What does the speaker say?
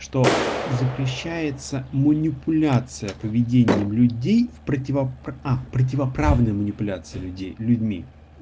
что запрещается манипуляция поведением людей противоправной манипуляции людей людьми